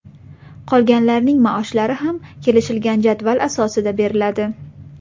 Qolganlarning maoshlari ham kelishilgan jadval asosida beriladi.